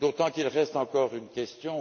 D'autant qu'il reste encore une question.